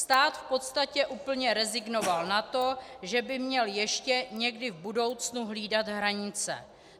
Stát v podstatě úplně rezignoval na to, že by měl ještě někdy v budoucnu hlídat hranice.